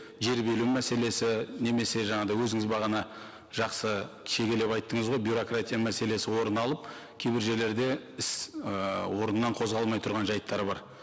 жер беру мәселесі немесе жаңағыдай өзіңіз бағана жақсы шегелеп айттыңыз ғой бюрократия мәселесі орын алып кейбір жерлерде іс ыыы орыннан қозғалмай тұрған жайттар бар